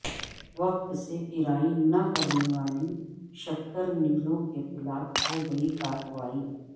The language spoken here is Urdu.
وقت سے پیرائی نہ کرنے والی شکرملوںکے خلاف ہوگی کارروائی